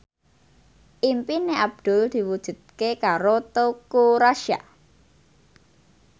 impine Abdul diwujudke karo Teuku Rassya